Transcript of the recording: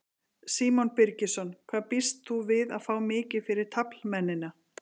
Símon Birgisson: Hvað býst þú við að fá mikið fyrir taflmennina?